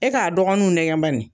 E k'a dɔgɔninw nɛgɛn bani!